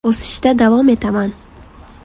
O‘sishda davom etaman.